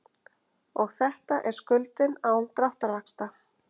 Og þetta er skuldin án dráttarvaxta.